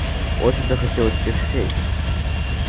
очень захотелось тех щей